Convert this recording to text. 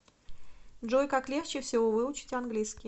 джой как легче всего выучить английский